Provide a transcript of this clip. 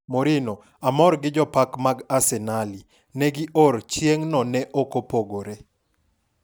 Mourinho:amor gi jopeko mag arsenali. negi or chieng'no ne ok opogore.